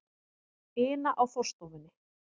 ina á forstofunni.